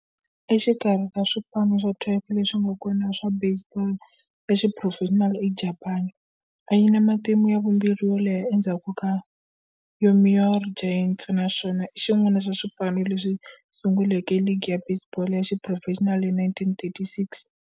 Exikarhi ka swipano swa 12 leswi nga kona swa baseball ya xiphurofexinali eJapani, yi na matimu ya vumbirhi yo leha endzhaku ka Yomiuri Giants, naswona i xin'wana xa swipano leswi sunguleke ligi ya baseball ya xiphurofexinali hi 1936.